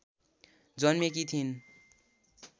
जन्मेकी थिइन्